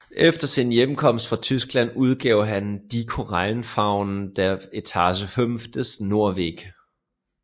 Efter sin hjemkomst fra Tyskland udgav han Die Korallenfaunen der Etage 5 des norweg